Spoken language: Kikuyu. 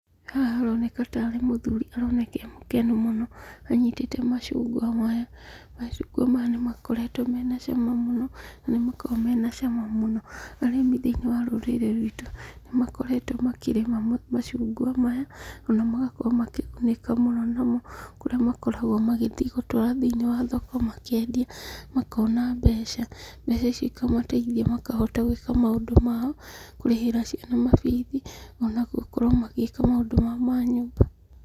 Haha haroneka tarĩ mũthuri aroneka emũkenu mũno anyitĩte macungwa maya. Macungwa maya nĩmakoretwo mena cama mũno, nĩmakoragwo mena cama mũno. Arĩmi thĩinĩ wa rũrĩrĩ ruitũ, nĩmakoretwo makĩrĩma macungwa maya, ona magakorwo makĩgunĩka mũno mũno, kũrĩa makoragwo magĩthiĩ gũtwara thĩinĩ wa thoko, makendia, makona mbeca, mbeca icio ikamataithia makahota gwĩka maũndũ mao, kũrĩhĩra ciana mabithi, ona gũkorwo magĩka maũndũ mao ma nyũmba.